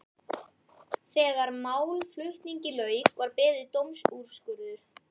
Þegar málflutningi lauk var beðið dómsúrskurðar.